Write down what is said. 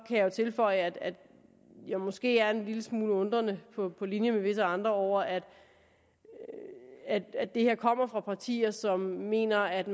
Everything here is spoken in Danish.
jeg jo tilføje at jeg måske er en lille smule undrende på på linje med visse andre over at at det her kommer fra partier som mener at